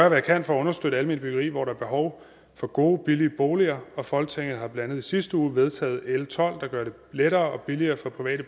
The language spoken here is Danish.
jeg kan for at understøtte alment byggeri hvor der behov for gode billige boliger folketinget har blandt andet i sidste uge vedtaget l tolv der gør det lettere og billigere for private